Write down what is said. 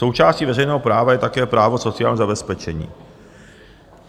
Součástí veřejného práva je také právo sociálního zabezpečení.